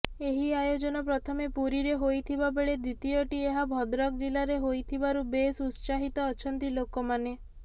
ଏହି ଆୟୋଜନ ପ୍ରଥମେ ପୁରୀରେ ହୋଇଥିବାବେଳେ ଦ୍ୱିତୀୟଟି ଏହା ଭଦ୍ରକ ଜିଲ୍ଲାରେ ହୋଇଥିବାରୁ ବେଶ ଉତ୍ସାହିତ ଅଛନ୍ତି ଲୋକମାନେ